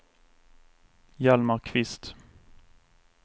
Hjalmar Kvist